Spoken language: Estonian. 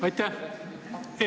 Aitäh!